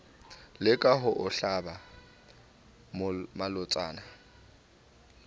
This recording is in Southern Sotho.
leka ho o hlaba malotsana